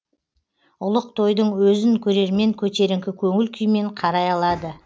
ұлық тойдың өзін көрермен көтеріңкі көңіл күймен қарай алады